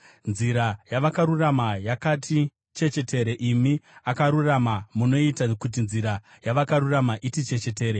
Nzira yavakarurama yakati chechetere; imi Akarurama, munoita kuti nzira yavakarurama iti chechetere.